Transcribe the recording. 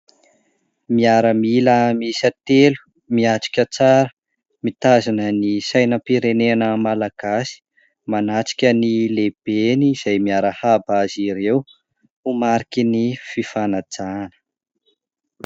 Miaramila miisa telo, miatrika tsara, mitazona ny sainam-pirenena Malagasy. Manatrika ny lehibeny izay miarahaba azy ireo ho mariky ny fifanajana.